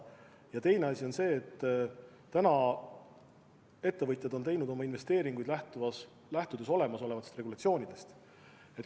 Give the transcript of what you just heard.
Ja teine asi on see, et seni on ettevõtjad teinud oma investeeringuid lähtudes olemasolevatest regulatsioonidest.